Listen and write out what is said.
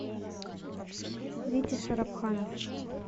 витя шарабханов